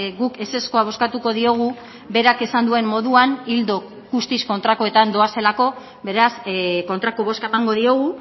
guk ezezkoa bozkatuko diogu berak esan duen moduan ildo guztiz kontrakoetan doazelako beraz kontrako bozka emango diogu